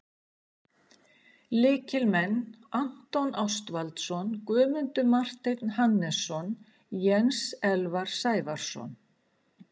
Lykilmenn: Anton Ástvaldsson, Guðmundur Marteinn Hannesson, Jens Elvar Sævarsson,